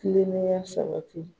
Tilenenya sabati